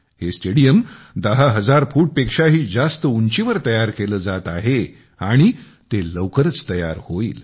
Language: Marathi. हे स्टेडियम दहा हजार फूट पेक्षाही जास्त उंचीवर बनवले जात आहे आणि ते लवकरच तयार होईल